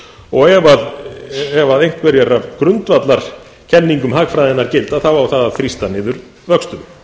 og ef einhverjar af grundvallarkenningum hagfræðinnar gilda á það að þrýsta niður vöxtum